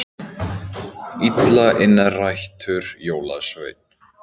Illa innrættur jólasveinn